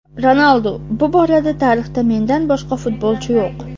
Ronaldu: "Bu borada tarixda mendan boshqa futbolchi yo‘q".